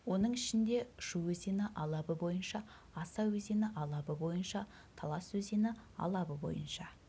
оның ішінде шу өзені алабы бойынша аса өзені алабы бойынша талас өзені алабы бойынша